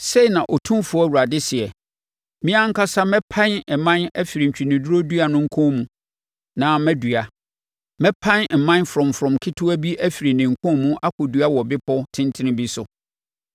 “ ‘Sei na Otumfoɔ Awurade seɛ: Me ankasa mɛpan mman afiri ntweneduro dua no nkɔn mu na madua. Mɛpan mman frɔmfrɔm ketewaa bi afiri ne nkɔn mu akɔdua wɔ bepɔ tentene bi so.